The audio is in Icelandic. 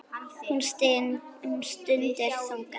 Hún stundi þungan.